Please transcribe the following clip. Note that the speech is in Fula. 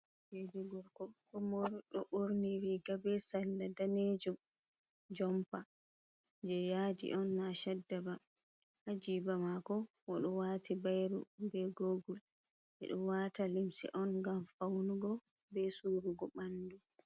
Ɓinngel korko ɗo ɓorni riga bee salla danejum, jompa jey yaadion naa chadda ba haa jiiba maako bo ɗo waati bayro bee agoogol ɓe ɗo waata limse on ngam fawnugo bee suurugo ɓanndu.